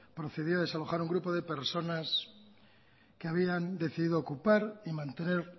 procedió a desalojar a un grupo de personas que habían decidido ocupar y mantener